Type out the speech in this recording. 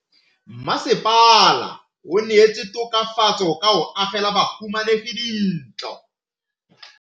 Mmasepala o neetse tokafatsô ka go agela bahumanegi dintlo.